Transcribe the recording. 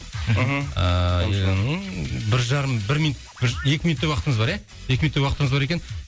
мхм ыыы бір жарым бір минуттай бір екі минуттай уақытымыз бар ә екі минуттай уақытымыз бар екен